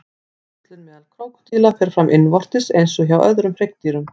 Æxlun meðal krókódíla fer fram innvortis eins og hjá öðrum hryggdýrum.